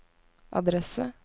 adresse